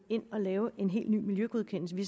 ind og lave en helt ny miljøgodkendelse vi